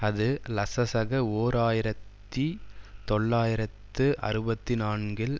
அது லசசக ஓர் ஆயிரத்தி தொள்ளாயிரத்து அறுபத்தி நான்கில்